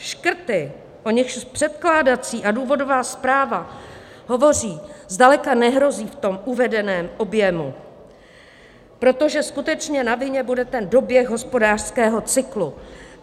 Škrty, o nichž předkládací a důvodová zpráva hovoří, zdaleka nehrozí v tom uvedeném objemu, protože skutečně na vině bude ten doběh hospodářského cyklu.